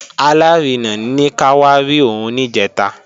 Alárinà ní ká wá rí òun níjẹ̀ta